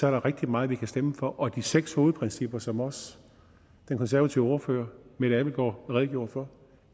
er rigtig meget vi kan stemme for og de seks hovedprincipper som også den konservative ordfører mette abildgaard redegjorde for